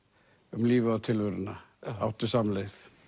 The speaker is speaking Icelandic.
um lífið og tilveruna áttu samleið